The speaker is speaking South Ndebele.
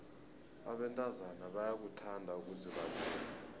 abentazana bayakuthanda ukuzibandula